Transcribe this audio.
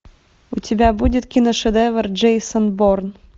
у тебя будет киношедевр джейсон борн